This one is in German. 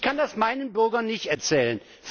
Ich kann das meinen Bürgern nicht erzählen.